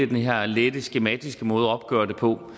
den her lette skematiske måde at opgøre det på